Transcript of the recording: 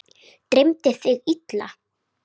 Dreymdi þig illa?